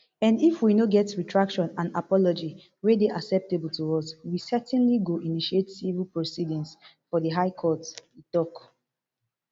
and if we no get retraction and apology wey dey acceptable to us we certainly go initiate civil proceedings for di high court e tok